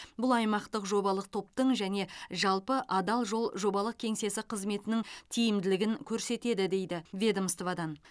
бұл аймақтық жобалық топтың және жалпы адал жол жобалық кеңсесі қызметінің тиімділігін көрсетеді дейді ведомстводан